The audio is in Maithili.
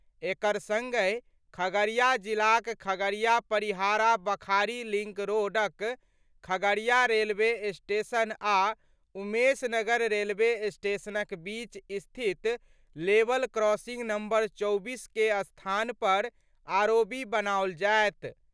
एकर संगहि खगड़िया जिलाक खगड़िया-परिहारा- बखारी लिंक रोडक खगड़िया रेलवे स्टेशन आ उमेश नगर रेलवे स्टेशनक बीच स्थित लेवल क्रॉसिंग नंबर-24 के स्थान पर आरओबी बनाओल जायत।